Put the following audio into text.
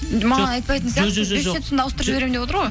маған айтпайтын сияқты бес жүз жетпісімді ауыстырып жіберемін деп отыр ғой